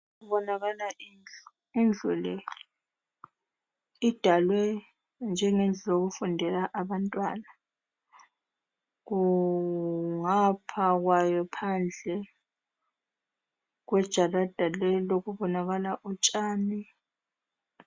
Kubonakala indlu indlu le idalwe njengendlu yokufundela abantwana kungapha kwayo phandle kwejarada leli kubonakala utshani.